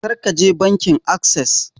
Kar ka je bankin assess!